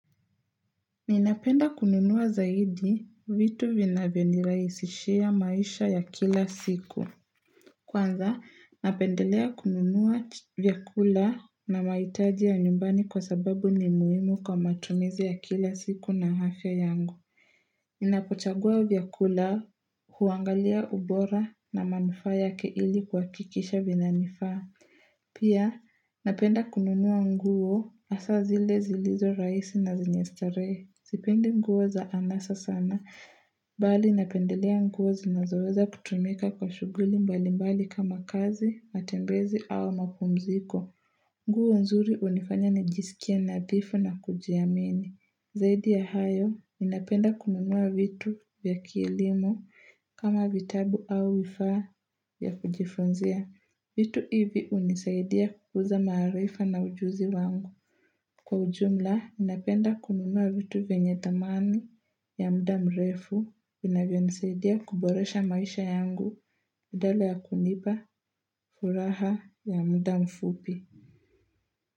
Ninapenda kununua zaidi vitu vinavyonirahisishia maisha ya kila siku. Kwanza, napendelea kununua vyakula na mahitaji ya nyumbani kwa sababu ni muhimu kwa matumizi ya kila siku na afya yangu. Ninapochagua vyakula huangalia ubora na manufaa yake ili kuhakikisha vinanifaa. Pia, napenda kununua nguo asa zile zilizo raisi na zenye starehee. Sipendi mguo za anasa sana, bali napendelea nguo zinazoweza kutumika kwa shuguli mbali mbali kama kazi, matembezi au mapumziko. Nguo nzuri hunifanya nijisikia nadhifu na kujiamini. Zaidi ya hayo, ninapenda kununua vitu vya kilimo kama vitabu au vifaa ya kujifunzia. Vitu hivi hunisaidia kukuza maarifa na ujuzi wangu. Kwa ujumla, ninapenda kununua vitu venye thamani ya mda mrefu, vinavyonisaidia kuboresha maisha yangu badala ya kunipa furaha ya mda mfupi.